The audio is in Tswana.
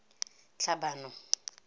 tlhabano